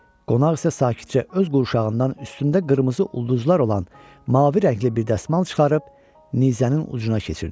Qonaq isə sakitcə öz qurşağından üstündə qırmızı ulduzlar olan mavi rəngli bir dəsmal çıxarıb nizənin ucuna keçirdi